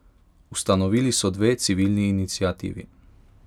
Ustanovili so dve civilni iniciativi.